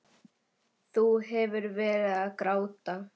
Þú hefur verið að gráta!